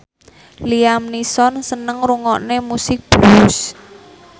Liam Neeson seneng ngrungokne musik blues